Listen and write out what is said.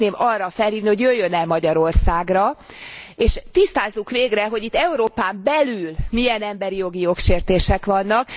Én szeretném arra felhívni, hogy jöjjön el Magyarországra, és tisztázzuk végre, hogy itt Európán belül milyen emberi jogi jogsértések vannak.